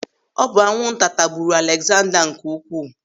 Ọ bụ anwụnta tagburu Alegzanda nke Ukwuu.